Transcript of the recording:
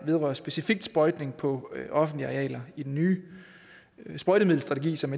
vedrører specifikt sprøjtning på offentlige arealer i den nye sprøjtemiddelstrategi som